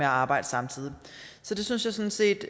arbejde samtidig så det synes jeg sådan set